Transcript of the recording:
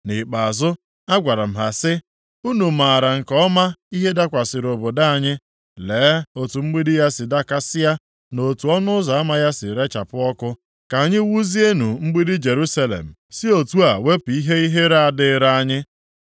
Nʼikpeazụ, agwara m ha sị, “Unu maara nke ọma ihe dakwasịrị obodo anyị. Lee otu mgbidi ya si dakasịa, na otu ọnụ ụzọ ama ya si rechapụ ọkụ. Ka anyị wuzienụ mgbidi Jerusalem, si otu a wepụ ihe ihere a dịịrị anyị.”